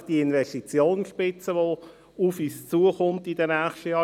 Thema ist die Investitionsspitze, die in den kommenden Jahren auf uns zukommt.